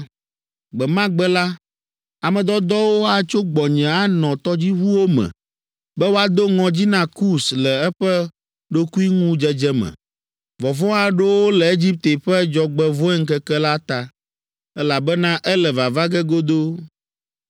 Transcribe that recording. “Gbe ma gbe la, ame dɔdɔwo atso gbɔnye anɔ tɔdziʋuwo me be woado ŋɔdzi na Kus le eƒe ɖokuiŋudzedze me. Vɔvɔ̃ aɖo wo le Egipte ƒe dzɔgbevɔ̃eŋkeke la ta, elabena ele vava ge godoo.